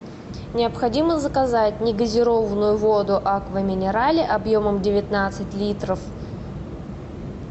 необходимо заказать негазированную воду аква минерале объемом девятнадцать литров